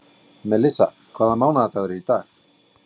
Melissa, hvaða mánaðardagur er í dag?